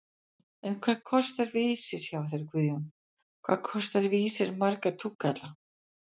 En hvað kostar Vísir hjá þér Grjóni, hvað kostar Vísir marga túkalla?!